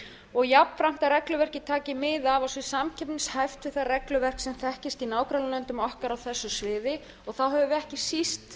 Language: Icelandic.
og jafnframt að regluverkið taki mið af og sé samkeppnishæft við það regluverk sem þekkist í nágrannalöndum okkar á þessu sviði þá höfum við ekki síst